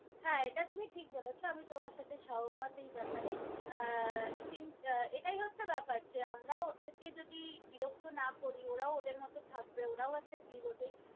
হ্যাঁ এটা তুমি ঠিক বলেছ আমি তোমার সাথে সহমত এই ব্যাপার এ, আহ কিন্তু আহ এটাই হছে ব্যাপার যে আমরাও ওদেরকে যদি বিরক্ত না করি ওরাও ওদের মতন থাকবে ওরাও একটা জীব ।